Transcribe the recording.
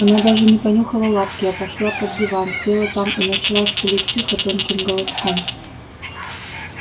она даже не понюхала лапки а пошла под диван села там и начала скулить тихо тонким голоском